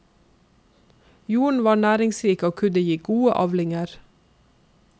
Jorden var næringsrik og kunne gi gode avlinger.